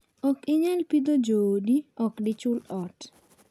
Ok inyal pidho joodi, ok dichul ot.